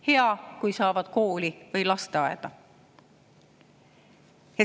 Hea, kui saavad kooli või lasteaeda.